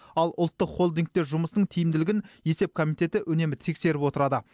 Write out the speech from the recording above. ал ұлттық холдингтер жұмысының тиімділігін есеп комитеті үнемі тексеріп отырады